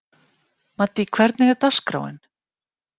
Maddý, hvernig er dagskráin?